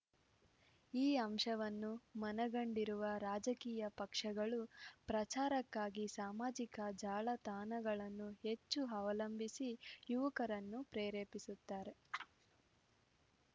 ಈ ಅಂಶವನ್ನು ಮನಗಂಡಿರುವ ರಾಜಕೀಯ ಪಕ್ಷಗಳು ಪ್ರಚಾರಕ್ಕಾಗಿ ಸಾಮಾಜಿಕ ಜಾಲ ತಾಣಗಳನ್ನು ಹೆಚ್ಚು ಅವಲಂಬಿಸಿ ಯುವಕರನ್ನು ಪ್ರೇರೇಪಿಸುತ್ತಾರೆ